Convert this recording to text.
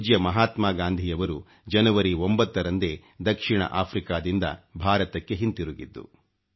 ಪೂಜ್ಯ ಮಹಾತ್ಮಾ ಗಾಂಧಿಯವರು ಜನವರಿ 9 ರಂದೇ ದಕ್ಷಿಣ ಆಫ್ರಿಕಾದಿಂದ ಭಾರತಕ್ಕೆ ಹಿಂತಿರುಗಿದ್ದು